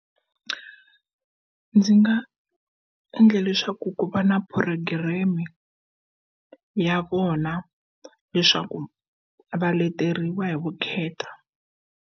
Ndzi nga endla leswaku ku va na program-e ya vona leswaku va leteriwa hi vukheta.